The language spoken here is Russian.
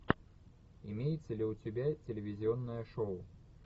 имеется ли у тебя телевизионное шоу